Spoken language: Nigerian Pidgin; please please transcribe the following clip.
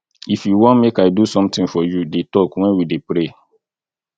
if you wan make i do something for you dey talk wen we dey pray